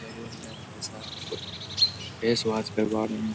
salon में भाई साहब फेस वाश करवा रहे --